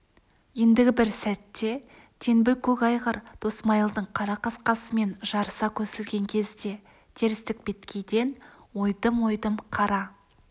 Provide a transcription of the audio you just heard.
ендігі бір сәтте теңбіл көк айғыр досмайылдың қара қасқасымен жарыса көсілген кезде терістік беткейден ойдым-ойдым қара